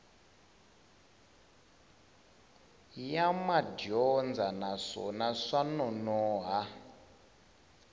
ya madyondza naswona swa nonoha